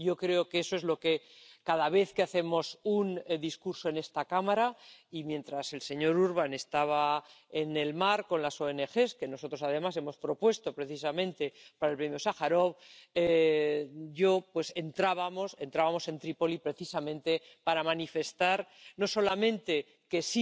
Yo creo que eso es lo que cada vez que hacemos un discurso en esta Cámara, y mientras el señor Urbán estaba en el mar con las ONG —que además hemos propuesto precisamente para el Premio Sájarov— nosotros entrábamos en Trípoli precisamente para manifestar no solamente que